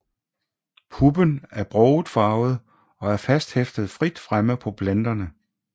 Puppen er broget farvet og er fasthæftet frit fremme på planterne